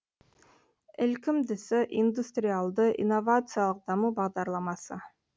ілкімдісі индустриалды инновациялық даму бағдарламасы